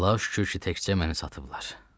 Allaha şükür ki, təkcə məni satıblar.